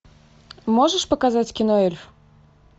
можешь показать кино эльф